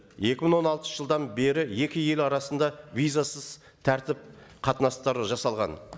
екі мың он алтыншы жылдан бері екі ел арасында визасыз тәртіп қатынастары жасалған